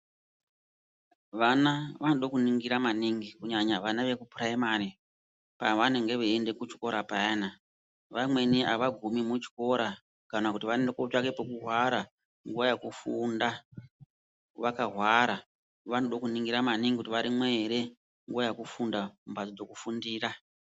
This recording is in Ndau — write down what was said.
Vana vanoda kuningira maningi kunyanya vana wekupuraimari pawanenge weienda kuchikora payana vamweni hawagumi muchikora kana kuti vanoenda kunotsvake pekuhwara nguva yekufunda wakahwara wanode kuningira maningi kuti warimo ere nguva yekufunda mumbatso dzekufundira.